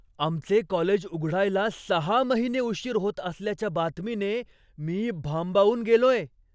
आमचे कॉलेज उघडायला सहा महिने उशीर होत असल्याच्या बातमीने मी भांबावून गेलोय.